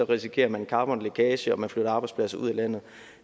risikerer man carbonlækage og man flytter arbejdspladser ud af landet